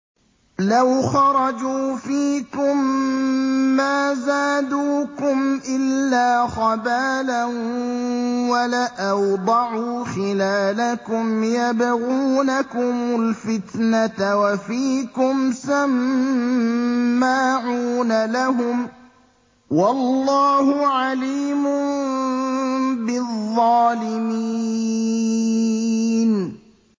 لَوْ خَرَجُوا فِيكُم مَّا زَادُوكُمْ إِلَّا خَبَالًا وَلَأَوْضَعُوا خِلَالَكُمْ يَبْغُونَكُمُ الْفِتْنَةَ وَفِيكُمْ سَمَّاعُونَ لَهُمْ ۗ وَاللَّهُ عَلِيمٌ بِالظَّالِمِينَ